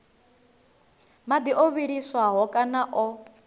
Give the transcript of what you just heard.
madi o vhiliswaho kana o